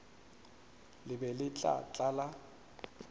le be le tla tlala